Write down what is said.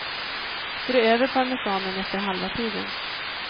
Strö över parmesanen efter halva tiden.